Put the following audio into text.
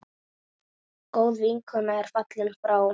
Góð vinkona er fallin frá.